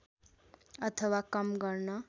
अथवा कम गर्न